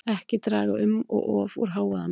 Ekki draga um of úr hávaðamengun